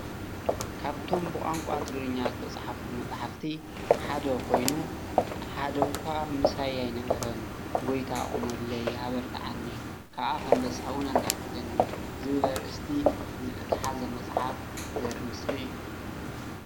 ካብቶም ብቛንቛ ትግርኛ ዝተፅሓፉ መፃሕፍቲ ሓደ ኮይኑ ሓደ እዃ ምሳይ ኣይነበረን ጎይታ ቁመለይ ኣበርትዓኒ ከዓ ከም ደስታ ውን ኣናግፈኒ ዝብል ኣርእስቲ ዝሓዘ መፅሓፍ ዘርኢ ምስሊ እዩ።